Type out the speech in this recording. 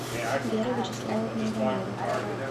вера вячеславовна иванова